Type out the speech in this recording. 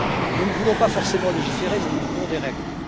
Nous ne voulons pas forcément légiférer, mais nous voulons des règles.